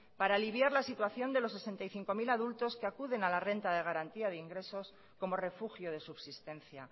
para aliviar la situación de los sesenta y cinco mil adultos que acuden a la renta de garantía de ingresos como refugio de subsistencia